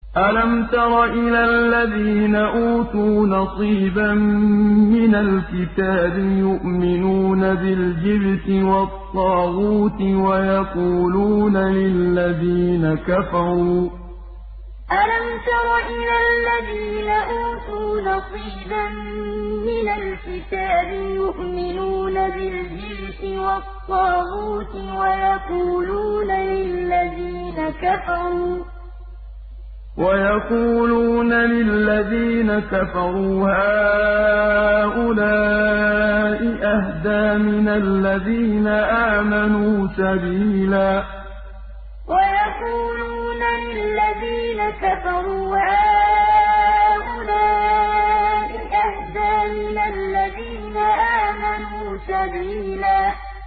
أَلَمْ تَرَ إِلَى الَّذِينَ أُوتُوا نَصِيبًا مِّنَ الْكِتَابِ يُؤْمِنُونَ بِالْجِبْتِ وَالطَّاغُوتِ وَيَقُولُونَ لِلَّذِينَ كَفَرُوا هَٰؤُلَاءِ أَهْدَىٰ مِنَ الَّذِينَ آمَنُوا سَبِيلًا أَلَمْ تَرَ إِلَى الَّذِينَ أُوتُوا نَصِيبًا مِّنَ الْكِتَابِ يُؤْمِنُونَ بِالْجِبْتِ وَالطَّاغُوتِ وَيَقُولُونَ لِلَّذِينَ كَفَرُوا هَٰؤُلَاءِ أَهْدَىٰ مِنَ الَّذِينَ آمَنُوا سَبِيلًا